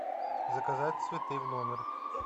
заказать цветы в номер